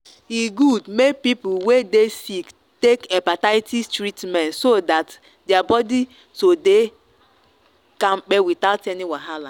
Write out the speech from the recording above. e good make people wey dey sick take hepatitis treatment so that their body to dey kampe without any wahala.